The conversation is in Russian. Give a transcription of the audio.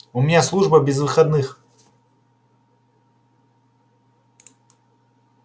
у меня служба без выходных